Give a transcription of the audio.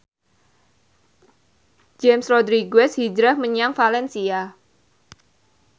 James Rodriguez hijrah menyang valencia